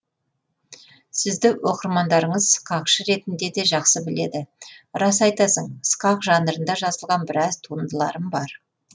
сізді оқырмандарыңыз сықақшы ретінде де жақсы біледі рас айтасың сықақ жанрында жазылған біраз туындыларым бар